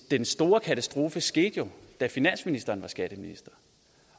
den store katastrofe skete jo da finansministeren var skatteminister